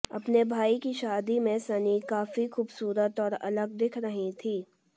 अपने भाई की शादी में सनी काफी खूबसूरत और अलग दिख रही थी